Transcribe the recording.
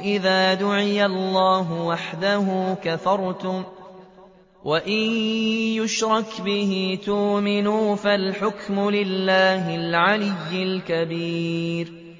إِذَا دُعِيَ اللَّهُ وَحْدَهُ كَفَرْتُمْ ۖ وَإِن يُشْرَكْ بِهِ تُؤْمِنُوا ۚ فَالْحُكْمُ لِلَّهِ الْعَلِيِّ الْكَبِيرِ